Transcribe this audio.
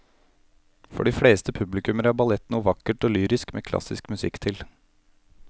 For de fleste publikummere er ballett noe vakkert og lyrisk med klassisk musikk til.